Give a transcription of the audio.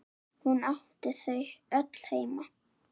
Hún átti þau öll heima.